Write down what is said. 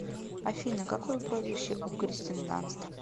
афина какое прозвище у кристен данст